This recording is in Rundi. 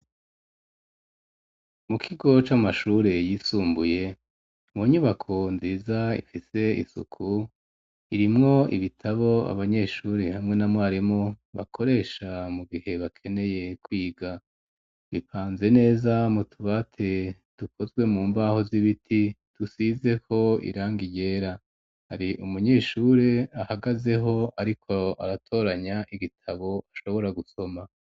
Mu kigo c'amashuri yisumbuye mu nyubako nziza ifise isuku irimwo ibitabo abanyeshuri hamwe na mwarimu bakoresha mu gihe bakeneye kwiga bipanze neza mu tubati dukozwe mu mbaho z'ibiti dusizeho iranga ryera hari umunyeshuri ahagazeho ariko aratoranya igitabo ashobora gusoma.